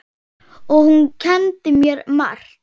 Og hún kenndi mér margt.